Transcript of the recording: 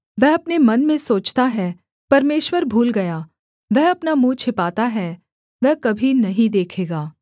वह अपने मन में सोचता है परमेश्वर भूल गया वह अपना मुँह छिपाता है वह कभी नहीं देखेगा